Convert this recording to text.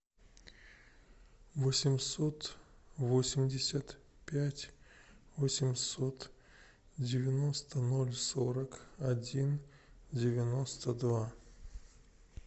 восемьсот восемьдесят пять восемьсот девяносто ноль сорок один девяносто два